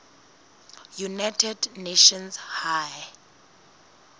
united nations high